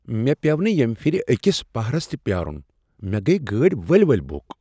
مےٚ پیوٚو نہٕ ییٚمہ پِھرِ أکس پہرس تہِ پیٛارن۔ مےٚ گٔیہ گٲڑۍ ؤلۍ ؤلۍ بُک۔